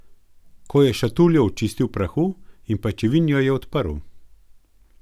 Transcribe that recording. Ko je šatuljo očistil prahu in pajčevin, jo je odprl.